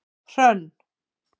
Hrönn